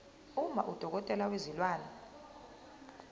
uma udokotela wezilwane